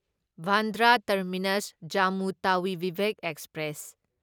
Bandra terminus Jammu Tawi Vivek express